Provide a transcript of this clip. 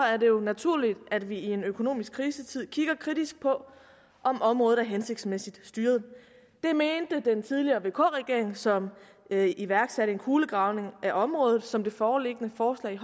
er det jo naturligt at vi i en økonomisk krisetid kigger kritisk på om området er hensigtsmæssigt styret det mente den tidligere vk regering som iværksatte en kulegravning af området som det foreliggende forslag